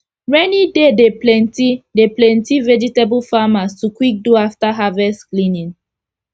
rainy day dey plenty dey plenty vegetable farmers to quick do afta harvest cleaning